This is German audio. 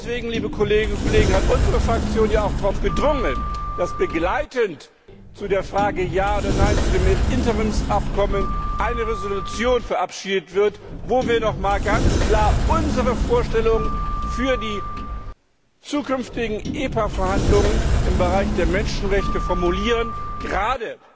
Und deswegen, liebe Kolleginnen und Kollegen, hat unsere Fraktion ja auch darauf gedrungen, dass begleitend zu der Frage Ja oder Nein zu dem Interimsabkommen eine Entschließung verabschiedet wird, in der wir noch einmal ganz klar unsere Vorstellungen für die zukünftigen EPA Verhandlungen im Bereich der Menschenrechte formulieren, gerade